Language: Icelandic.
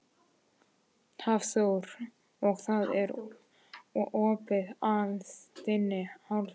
Hafþór: Og það er opið af þinni hálfu?